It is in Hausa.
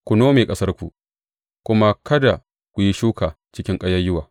Ku nome ƙasarku kuma kada ku yi shuka cikin ƙayayyuwa.